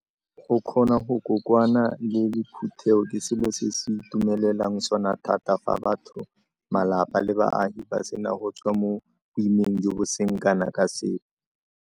Go kgona go kokoana le le phuthego ke selo se go itumelelwang sona thata fa batho, malapa le baagi ba sena go tswa mo boimeng jo bo seng kana ka sepe.